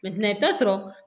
i bɛ taa sɔrɔ